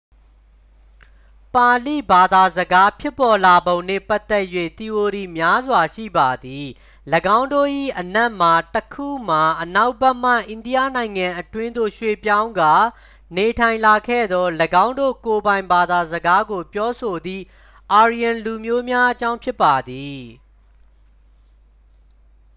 ပါဠိဘာသာစကားဖြစ်ပေါ်လာပုံနှင့် ပတ်သက်၍ သီအိုရီများစွာ ရှိပါသည် ၎င်းတို့၏အနက်မှတစ်ခုမှာ အနောက်ဘက်မှ အိန္ဒိယနိုင်ငံအတွင်းသို့ရွှေ့ပြောင်းကာ နေထိုင်လာခဲ့သော ၎င်းတို့ကိုယ်ပိုင် ဘာသာစကားကိုပြောဆိုသည့် aryan လူမျိုးများအကြောင်း ဖြစ်ပါသည်